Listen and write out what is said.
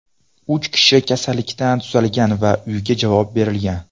Uch kishi kasallikdan tuzalgan va uyga javob berilgan.